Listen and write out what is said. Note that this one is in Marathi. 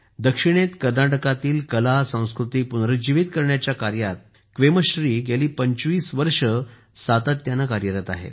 दक्षिणेत कर्नाटकातील कलासंस्कृती पुनरुज्जीवीत करण्याच्या कार्यात क्वेमश्री गेली 25 वर्षे सातत्याने कार्यरत आहेत